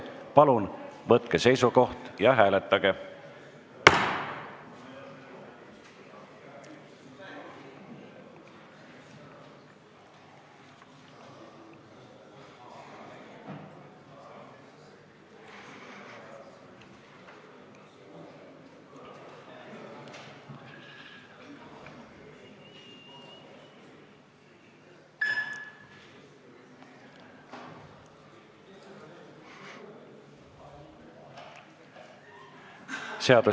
Palun võtke seisukoht ja hääletage!